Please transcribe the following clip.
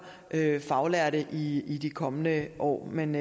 faglærte i i de kommende år men